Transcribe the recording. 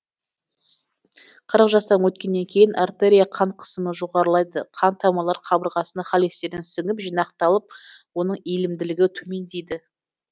қырық жастан өткеннен кейін артерия қан қысымы жоғарылайды қан тамырлар қабырғасына холестерин сіңіп жинақталып оның иілімділігі төмендейді